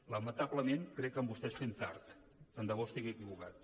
lamentablement crec que amb vostès fem tard tant de bo estigui equivocat